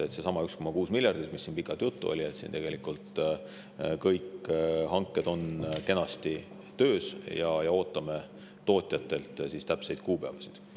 Seesama 1,6 miljardit, millest pikalt juttu on olnud – tegelikult kõik hanked on kenasti töös ja ootame tootjatelt täpseid kuupäevasid.